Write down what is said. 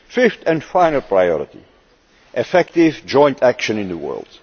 Fifth and final priority effective joint action in the